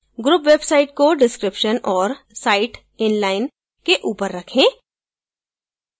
group website को description और site inline के ऊपर रखें